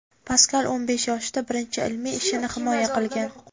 Paskal' o‘n besh yoshida birinchi ilmiy ishini himoya qilgan.